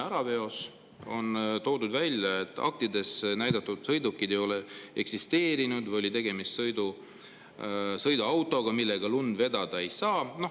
On välja toodud, et aktides näidatud sõidukeid ei eksisteeri või oli tegemist sõiduautodega, millega lund vedada ei saa.